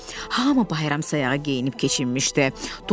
Hami bayram sayağı geyinib keçinmişdi.